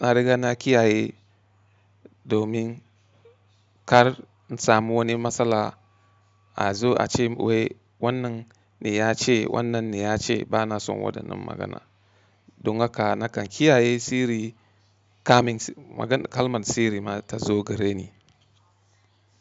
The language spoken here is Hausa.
na riga na kiyaye domin kar in samu wani matsala a zo a ce wai wannan ne ya ce wannan ne ya ce bana son wadannan magana. Don haka nakan kiyaye sirri kamin kalman sirri ma ta zo gareni.